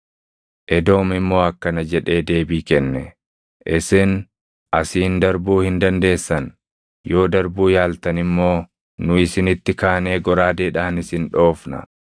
Edoom immoo akkana jedhee deebii kenne: “Isin asiin darbuu hin dandeessan; yoo darbuu yaaltan immoo nu isinitti kaanee goraadeedhaan isin dhoofna.”